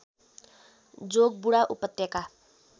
जोगबुढा उपत्यका